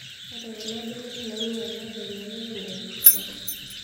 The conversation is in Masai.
Ore kuna benek nainyalate elelek enyaa Orkuto